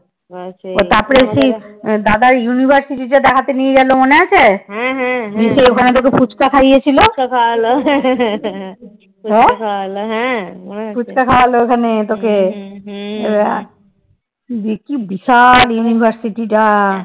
দিয়ে কি বিশাল university টা